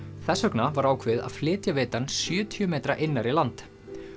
þess vegna var ákveðið að flytja vitann sjötíu metra innar í land